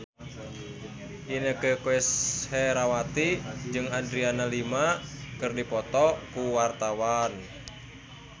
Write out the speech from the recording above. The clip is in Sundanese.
Inneke Koesherawati jeung Adriana Lima keur dipoto ku wartawan